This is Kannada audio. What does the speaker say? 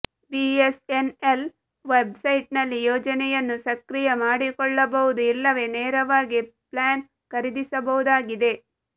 ಬಿಎಸ್ಎನ್ಎಲ್ ವೆಬ್ಸೈಟ್ ನಲ್ಲಿ ಯೋಜನೆಯನ್ನು ಸಕ್ರಿಯ ಮಾಡಿಕೊಳ್ಳಬಹುದು ಇಲ್ಲವೇ ನೇರವಾಗಿ ಪ್ಲಾನ್ ಖರಿದಿಸಬಹುದಾಗಿದೆ